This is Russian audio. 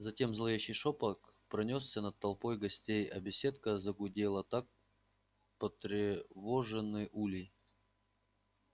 затем зловещий шёпот пронёсся над толпой гостей а беседка загудела как потревоженный улей